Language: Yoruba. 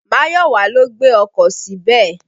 Máyọ̀wà ló gbé ọkọ̀ síbẹ̀.